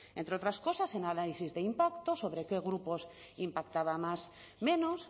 entre otras cosas el análisis de impacto sobre qué grupos impactaba más menos